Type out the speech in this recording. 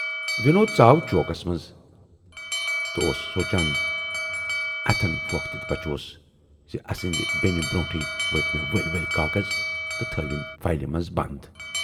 وِنود ژاو چوکس مَنز تہٕ اوس سونچان"اَتھٮ۪ن پھوکھ دِتھ بچوس زِ اَسٕندِ بیہنہٕ برونہےٕ ؤٹۍ مے ؤلۍ ؤلۍ کاغذ تہٕ تھٲوِم فایلہِ مَنز بَند۔